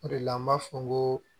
O de la an b'a fɔ n ko